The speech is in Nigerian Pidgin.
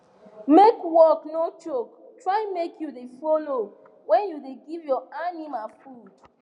make work no choke try make u dey follow when you da give your animal food